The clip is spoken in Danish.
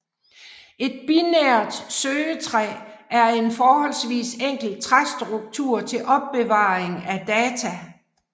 Et binært søgetræ er en forholdsvis enkel træstruktur til opbevaring af data